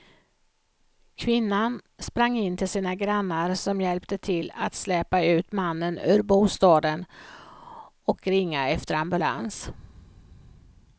Kvinnan sprang in till sina grannar som hjälpte till att släpa ut mannen ur bostaden och ringa efter ambulans.